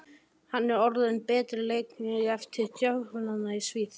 Er hann orðinn að betri leikmanni eftir dvölina í Svíþjóð?